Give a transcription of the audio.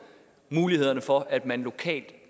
mulighederne for at man lokalt